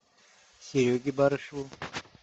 сереге барышеву